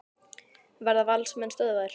Verða Valsmenn stöðvaðir?